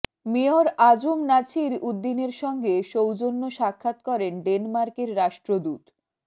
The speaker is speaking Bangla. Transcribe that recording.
মেয়র আ জ ম নাছির উদ্দীনের সঙ্গে সৌজন্য সাক্ষাৎ করেন ডেনমার্কের রাষ্ট্রদূত